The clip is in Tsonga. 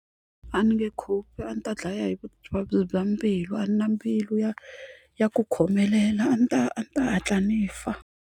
A ni nge cope a ndzi ta dlaya hi vuvabyi bya mbilu a na mbilu ya ya ku khomelela a ndzi ta a ndzi ta hatla ni fa.